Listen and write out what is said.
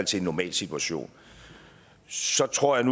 til en normal situation så tror jeg